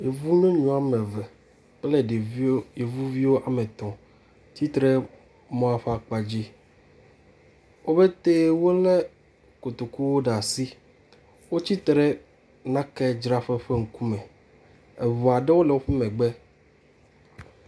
Yevu nyɔnu womeve kple ɖeviwo yevuviwo wometɔ̃, tsitre ɖe emɔa ƒe akpa dzi, wopete wole kotokuwo ɖe asi, wotsri ɖe naka dzraƒe ƒe ŋku me, eŋua ɖoo le woƒe megbe